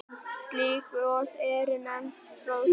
Slík gos eru nefnd troðgos.